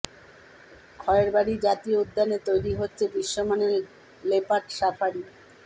খয়েরবাড়ি জাতীয় উদ্যানে তৈরি হচ্ছে বিশ্ব মানের লেপার্ড সাফারি